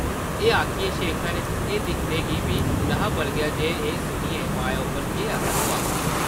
एह् आखियै शेखर एह् दिक्खने गी बी न’हा बलगेआ जे एह् सुनियै माया उप्पर केह् असर होआ हा ।